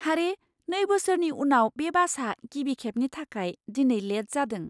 हारे, नै बोसोरनि उनाव बे बासआ गिबि खेबनि थाखाय दिनै लेट जादों!